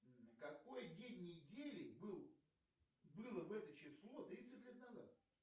какой день недели был было в это число тридцать лет назад